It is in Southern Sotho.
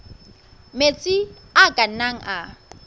metsi a ka nnang a